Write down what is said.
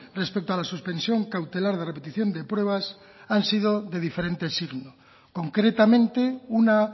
respecto a la suspensión cautelar de repetición de pruebas han sido de diferente signo concretamente una